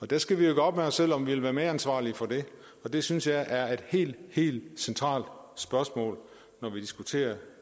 der skal vi jo gøre op med os selv om vi vil være medansvarlige for det og det synes jeg er et helt helt centralt spørgsmål når vi diskuterer